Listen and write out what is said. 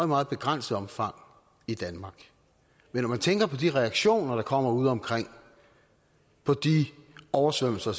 meget begrænset omfang i danmark men når man tænker på de reaktioner der kommer udeomkring på de oversvømmelser